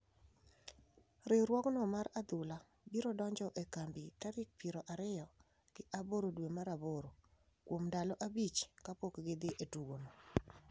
Riwruogno mar adhula biro donjo e kambi tarik piero ariyo gi aboro dwe mar aboro, kuom ndalo abich kapok gidhi e tugono.